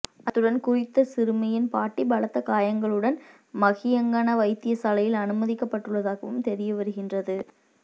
அத்துடன் குறித்த சிறுமியின் பாட்டி பலத்த காயங்களுடன் மஹியங்கன வைத்தியசாலையில் அனுமதிக்கப்பட்டுள்ளதாகவும் தெரியவருகின்றது